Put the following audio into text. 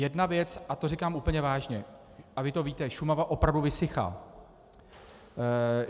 Jedna věc, a to říkám úplně vážně, a vy to víte, Šumava opravdu vysychá.